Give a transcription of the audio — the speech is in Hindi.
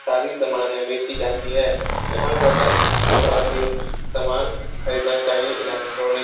सारी समाने बेचीं जाती है यहां पर हर किसी को आके सामान खरीदना चाहिए इलेक्ट्रॉनिक --